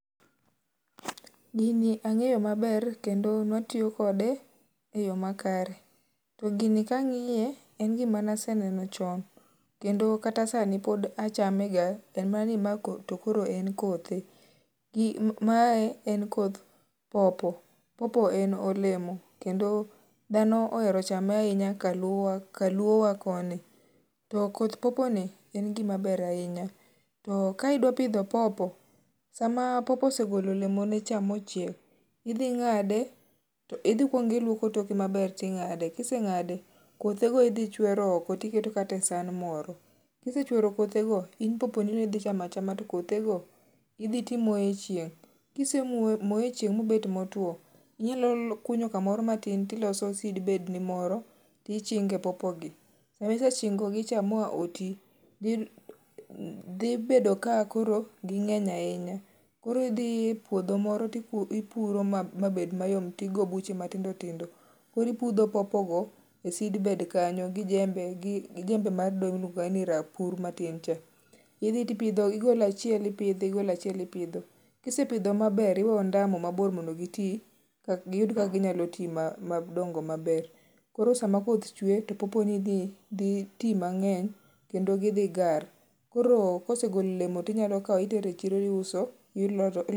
Gini ang'eyo ma ber ne watiyo kode e eyo makare to gini ka ang'iye en gi ma ne aseneno chon kendo kata sani pod achame ga en mana ni mae en kothe mae koth popo. Popo en olemo kendo dhano ohero ga chame ainya ka luo ka luo wa koni .To koth popo ni en gi ma ber ainya to ka idwa pidho popo sa ma popo osegolo olemo ne cha ma ochiek , idhi ng'ade idhi ikuongo iluoko toke no ma ber ti ing'ade kiseng'ade kothe go idhi ichwero oko ti iketo kata e san moro kisechwero kothe go to idhi ti imoyee e chieng kisemoye e chieng ma obet ma otwo ,inyalo kunyo ka moro ma tin to iloso e seed bed ni moro ti ichinge popo gi. Ma kisechingo gi cha ma oti dhi bedo ka koro gi ngeny ainya. Koro idhi e puodho moro to ipuro ma obed ma yom to tigo buche ma tindo tindo koro ipudho popo go e seedbed kanyo gi jembe gi jembe mar dho luongo ni rapur cha pidho tio ipidho igolo achiel to ipidho igolo achiel ipidho kisepidho ma ber iwe ondamo ma bor mondo gi ti gi yud kaka gi nyalo ti ma dongo ma ber. Koro sa ma koth chwe to popo ni ni dhi ti mangeny kendo gi dhi gar koro kosegolo olemo ti inyalo kawo itero e chiro iuso.